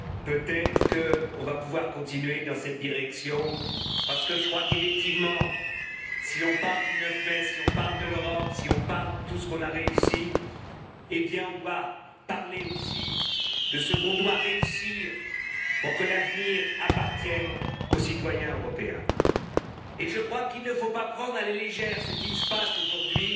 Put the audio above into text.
Peut être qu'on va pouvoir continuer dans cette direction parce qu'effectivement, si on parle du 9 mai, si on parle de l'Europe, si on parle de tout ce qu'on a réussi, on doit parler aussi de ce qu'on doit réussir pour que l'avenir appartienne aux citoyens européens. Et il ne faut pas prendre à la légère ce qui se passe aujourd'hui